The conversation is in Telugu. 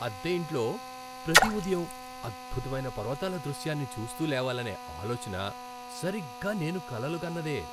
అద్దె ఇంట్లో ప్రతి ఉదయం అద్భుతమైన పర్వతాల దృశ్యాన్ని చూస్తూ లేవాలనే ఆలోచన సరిగ్గా నేను కలలుగన్నదే.